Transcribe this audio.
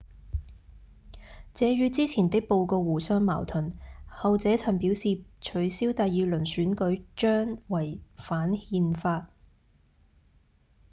這與之前的報告互相矛盾後者曾表示取消第二輪選舉將違反憲法